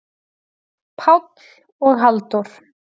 Páll og Halldór?